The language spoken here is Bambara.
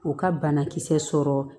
U ka banakisɛ sɔrɔ